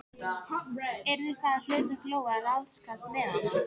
Yrði það þá hlutverk Lóu að ráðskast með hana?